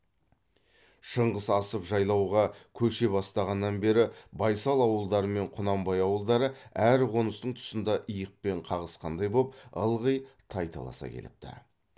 шыңғыс асып жайлауға көше бастағаннан бері байсал ауылдары мен құнанбай ауылдары әр қоныстың тұсында иықпен қағысқандай боп ылғи тайталаса келіпті